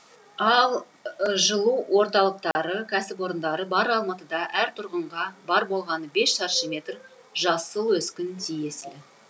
ал жылу орталықтары кәсіпорындары бар алматыда әр тұрғынға бар болғаны бес шаршы метр жасыл өскін тиесілі